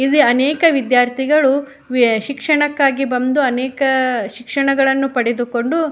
ಇಲ್ಲಿ ಅನೇಕ ವಿದ್ಯಾರ್ಥಿಗಳು ವೇ ಸಿಕ್ಷಸನಕ್ಕೆ ಬಂದು ಅನೇಕ ಶಿಕ್ಷಣವನ್ನು ಪಡೆದುಕೊಂಡು --